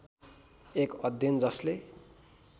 एक अध्ययन जसले